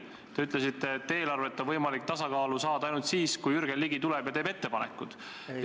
Te ütlesite, et eelarvet on võimalik tasakaalu saada ainult siis, kui Jürgen Ligi tuleb ja teeb ettepanekud.